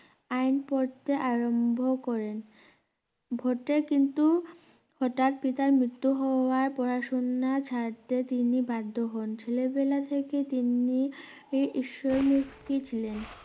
আইন পড়তে আরম্ভ করেন vote এ কিন্তু হঠাৎ পিত মৃত্যু হওয়ায় পড়াশোনা ছাড়তে তিনি বাধ্য হন ছেলেবেলা থেকে তিনি ঈশ্বর মুক্তি ছিলেন